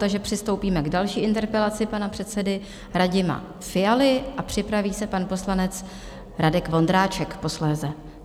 Takže přistoupíme k další interpelaci pana předsedy Radima Fialy a připraví se pan poslanec Radek Vondráček posléze.